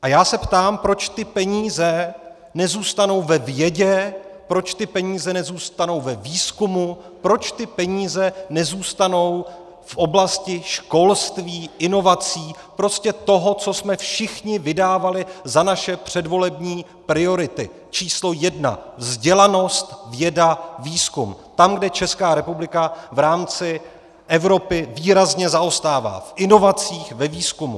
A já se ptám, proč ty peníze nezůstanou ve vědě, proč ty peníze nezůstanou ve výzkumu, proč ty peníze nezůstanou v oblasti školství, inovací, prostě toho, co jsme všichni vydávali za naše předvolební priority číslo jedna: vzdělanost, věda, výzkum, tam, kde Česká republika v rámci Evropy výrazně zaostává v inovacích, ve výzkumu.